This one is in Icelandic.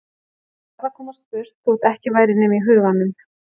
Ég varð að komast burt þótt ekki væri nema í huganum.